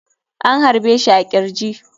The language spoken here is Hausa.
An harbe shi a kirji.